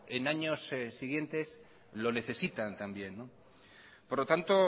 en años siguientes lo necesitan también por lo tanto